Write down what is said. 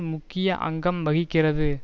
முக்கிய அங்கம் வகிக்கிறது